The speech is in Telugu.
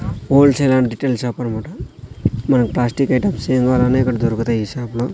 Whole sale and retail shop అన్మాట మనం ప్లాస్టిక్ ఐటమ్స్ ఏం గవాలన్నా ఇక్కడ దొరుకుతాయి ఈ షాప్ లో.